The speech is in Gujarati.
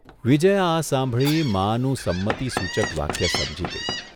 વિજ્યા આ સાંભળી માનુ સંમતિસૂચક વાક્ય સમજી ગઇ.